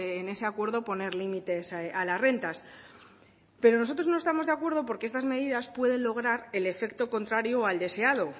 en ese acuerdo poner límites a las rentas pero nosotros no estamos de acuerdo porque estas medias pueden logran el efecto contrario al deseado